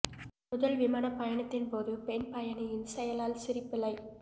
முதல் விமான பயணத்தின் போது பெண் பயணியின் செயலால் சிரிப்பலை